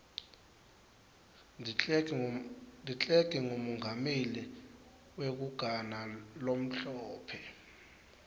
declerk ngumengameli wekugana lomhlophe